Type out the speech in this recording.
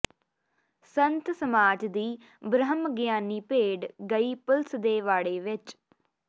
ਸੰਤ ਸਮਾਜ ਦੀ ਬ੍ਰਹਮ ਗਿਆਨੀ ਭੇਡ ਗਈ ਪੁਲਿਸ ਦੇ ਵਾੜੇ ਵਿੱਚ